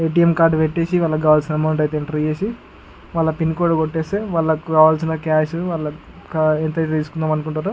ఎ. T. M. Card పెట్టేసి వాలకి కావలిసిన అమౌంట్ అయితే ఎంటర్ చేసి వాల పిన్ కోడ్ కొట్టేస్తే వాలకి కావలిసిన కాష్ వాళ్లకు ఎంత అయతె తీసుకుందం అనుకుంటుంరో --